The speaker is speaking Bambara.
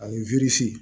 Ani